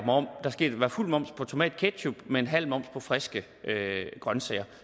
fuld moms på tomatketchup men halv moms på friske grønsager